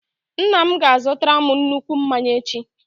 Nna m ga-azutara m nnukwu mmanya echi.